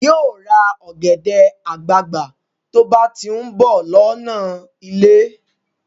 Yóò ra ọ̀gẹ̀dẹ̀ àgbagbà tó bá ti ń bọ̀ lọ́nà ilé